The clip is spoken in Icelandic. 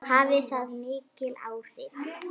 Hafði það mikil áhrif?